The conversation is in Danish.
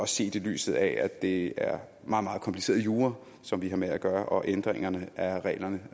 set i lyset af at det er meget meget kompliceret jura som vi har med at gøre og fordi ændringerne af reglerne